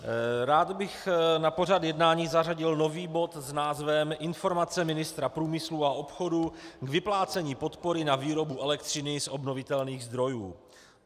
Rád bych na pořad jednání zařadil nový bod s názvem Informace ministra průmyslu a obchodu k vyplácení podpory na výrobu elektřiny z obnovitelných zdrojů.